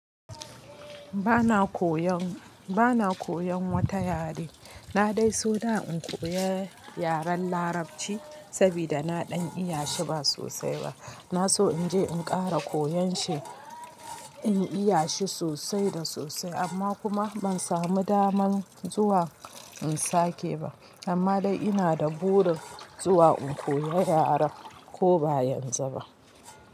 Bana koyan, bana koyan wata yare. Na dai so na in koya yaren Larabci sabida na ɗan iya shi ba sosai ba. Na so in je in ƙara koyon shi, in iya shi sosai da sosai amma kuma ban samu damar zuwa in sake ba. Amma dai ina da buri zuwa in koya yaren ko ba yanzu ba.